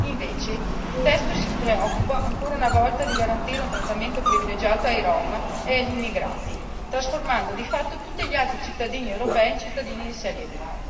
Viceversa, il testo si preoccupa ancora una volta di garantire un trattamento privilegiato ai Rom e agli immigrati, trasformando di fatto tutti gli altri cittadini europei in cittadini serie B.